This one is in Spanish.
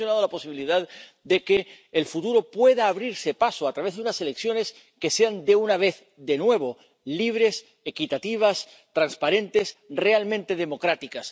Usted ha mencionado la posibilidad de que el futuro pueda abrirse paso a través de unas elecciones que sean de nuevo libres, equitativas, transparentes, realmente democráticas.